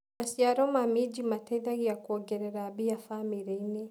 Maciaro ma minji mateithagia kuongerera mbia famĩrĩini.